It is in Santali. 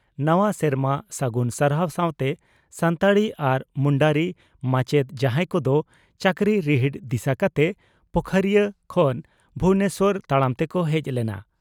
ᱱᱟᱣᱟ ᱥᱮᱨᱢᱟ ᱥᱟᱹᱜᱩᱱ ᱥᱟᱨᱦᱟᱣ ᱥᱟᱣᱛᱮ ᱥᱟᱱᱛᱟᱲᱤ ᱟᱨ ᱢᱩᱱᱰᱟᱹᱨᱤ ᱢᱟᱪᱮᱛ ᱡᱟᱦᱟᱸᱭ ᱠᱚᱫᱚ ᱪᱟᱹᱠᱨᱤ ᱨᱤᱦᱤᱴ ᱫᱤᱥᱟᱹ ᱠᱟᱛᱮ ᱯᱳᱠᱷᱚᱨᱤᱭᱟᱹ ᱠᱷᱚᱱ ᱵᱷᱩᱵᱚᱱᱮᱥᱚᱨ ᱛᱟᱲᱟᱢ ᱛᱮᱠᱚ ᱦᱮᱡ ᱞᱮᱱᱟ